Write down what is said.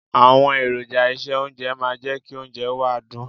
Àwọn èròjà ìse oúnjẹ máa ń jẹ́ kí oúnjẹ wa dùn.